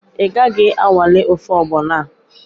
Ị gaghị anwale ofe ọgbọnọ a?